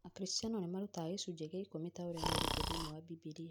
Akristiano nĩmarutaga gĩcunjĩ kĩa ikũmi taũrĩa merĩtwo thĩiniĩ wa bibilia